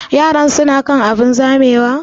Yaran su na kan abun zamewa?